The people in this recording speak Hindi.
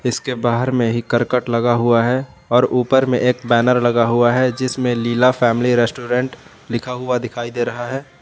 इसके बाहर में ही करकट लगा हुआ है और ऊपर में एक बैनर लगा हुआ है जिसमें लीला फैमिली रेस्टोरेंट लिखा हुआ दिखाई दे रहा है।